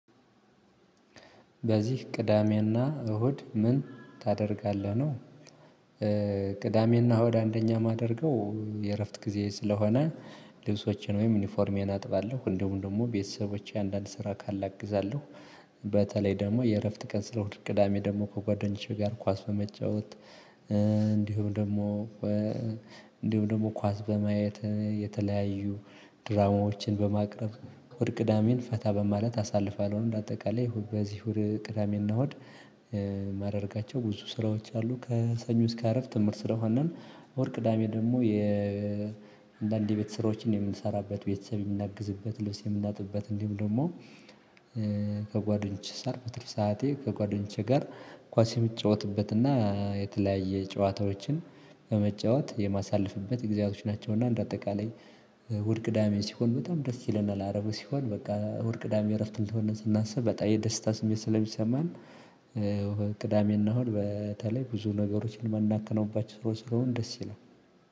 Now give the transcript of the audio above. በዚህ ቅዳሜና እሁድ ምን ታደርጋለህ? ነው ቅዳሜና እሁድ አንደኛ የማደርገው የእረፍት ጊዜ ስለሆነ ልብሶችን ወይም ዩኒፎርም አጥባለሁ እንዲሁም ደግሞ ቤተሰቦቼ አንዳንድ ስራ ካላ አግዛለሁ። በተለይ ደግሞ የእረፍት ቀን እሁድ ቅዳሜ ደግሞ ከጓደኞቼ ጋር ኳስ በመጫወት እንዲሁም ደግሞ እንዲሁም ደግሞ ኳስ በማየት የተለያዩ ድራማዎችን በማቅረብ እሁድ ቅዳሜን ፈታ በማለት አሳልፈለው እንዳጠቃላይ በዚሁ ቅዳሜና እሁድ። ማድረጋቸው ብዙ ስራዎች አሉ ከሰኞ እስከ አርብ ትምህርት ስለ ሆንን። እሁድ ቅዳሜ ደግሞ አንዳንድ የቤት ስራዎችን የምንሰራበት ቤተሰብ የምናግዝበት ልብስ የምናጥብበት የምንላጥበት እንዲሁም ደግሞ። ከጓደኞቼ በትርፍ ሰዓቴ ከጓደኞቼ ጋር ኳስ የምትጫወትበት እና የተለያየ ጨዋታዎችን በመጫወት የማሳልፍበት ግዚያቶች ናቸውና እንደ አጠቃላይ። እሁድ ቅዳሜ ሲሆን በጣም ደስ ይለናል አርቡ ሲሆን በቃ እሁድ ቅዳሜ እረፍት እንደሆንን ስናስብ በጣም የደስታ ስሜት ስለሚሰማን። ቅዳሜ እና እሁድ በተለይ ብዙ ነገሮችን የምናከናውባቸው ስራዎች ስለሆን ደስ ይላል።